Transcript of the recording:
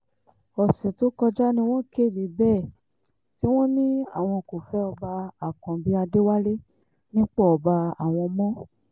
ọ̀sẹ̀ tó kọjá ni wọ́n kéde bẹ́ẹ̀ tí wọ́n ní àwọn kò fẹ́ ọba àkànbí adéwálé nípò ọba àwọn mọ́